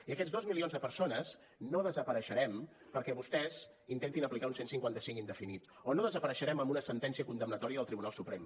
i aquests dos milions de persones no desapareixerem perquè vostès intentin aplicar un cent i cinquanta cinc indefinit o no desapareixerem amb una sentència condemnatòria del tribunal suprem